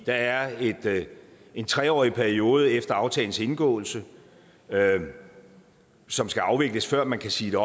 der er en tre årig periode efter aftalens indgåelse som skal afvikles før man kan sige